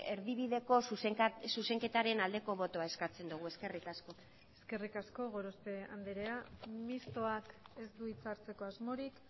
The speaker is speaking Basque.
erdibideko zuzenketaren aldeko botoa eskatzen dugu eskerrik asko eskerrik asko gorospe andrea mistoak ez du hitza hartzeko asmorik